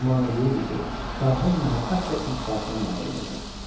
Güman eləyirdi ki, şahın məhəbbət və iltifatına nail olacaq.